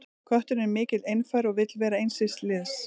Kötturinn er mikill einfari og vill vera eins síns liðs.